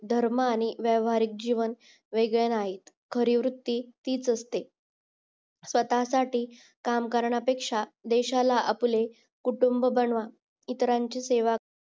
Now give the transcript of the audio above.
धर्म आणि व्यावहारिकजीवन वेगळे नाहीत खरी वृत्ती तीच असते स्वतःसाठी कामकारण्यापेक्षा देशाला आपले कुटुंब बनवा इतरांची सेवा